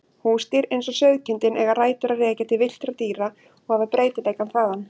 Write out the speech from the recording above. Húsdýr eins og sauðkindin eiga rætur að rekja til villtra dýra og hafa breytileikann þaðan.